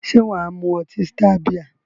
Se waa mu oti star bia?